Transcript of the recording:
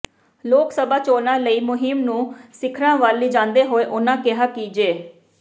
ਲੋਕ ਸਭਾ ਚੋਣਾਂ ਲਈ ਮੁਹਿੰਮ ਨੂੰ ਸਿਖਰਾਂ ਵੱਲ ਲਿਜਾਂਦੇ ਹੋਏ ਉਨ੍ਹਾਂ ਕਿਹਾ ਕਿ ਜੇ